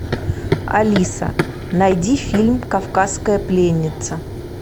алиса найди фильм кавказская пленница